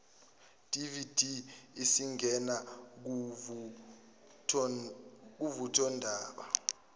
dvd isingena kuvuthondaba